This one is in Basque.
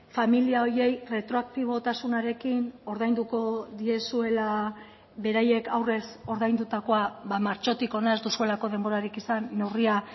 familia horiei retroaktibotasunarekin ordainduko diezuela beraiek aurrez ordaindutakoa martxotik hona ez duzuelako denborarik izan neurria